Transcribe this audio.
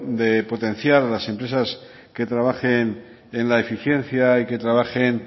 de potenciar a las empresas que trabajen en la eficiencia y que trabajen